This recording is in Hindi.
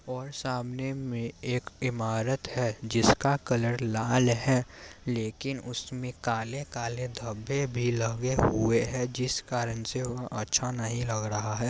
और सामने में एक इमारत है जिसका कलर लाल है लेकिन उसमें काले काले धब्बे भी लगे हुए हैं जिस कारण से वो अच्छा नहीं लग रहा है।